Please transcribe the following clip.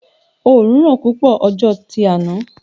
Òorùn ran púpọ̀ ọjọ́ tí áná